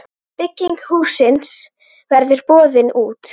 Bygging hússins verður boðin út.